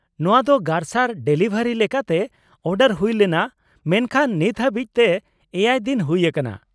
ᱱᱚᱶᱟ ᱫᱚ ᱜᱟᱨᱥᱟᱨ ᱰᱮᱞᱤᱵᱷᱟᱨᱤ ᱞᱮᱠᱟᱛᱮ ᱚᱰᱟᱨ ᱦᱩᱭ ᱞᱮᱱᱟ ᱢᱮᱱᱠᱷᱟᱱ ᱱᱤᱛ ᱦᱟᱵᱤᱡ ᱛᱮ ᱮᱭᱟᱭ ᱫᱤᱱ ᱦᱩᱭ ᱟᱠᱟᱱᱟ ᱾